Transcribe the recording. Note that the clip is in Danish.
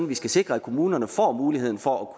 vi skal sikre at kommunerne får muligheden for